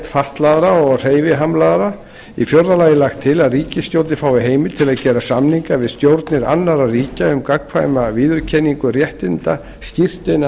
fatlaðra og hreyfihamlaðra í fjórða lagi er lagt til að ríkisstjórnin fái heimild til að gera samninga við stjórnir annarra ríkja um gagnkvæma viðurkenningu réttinda skírteina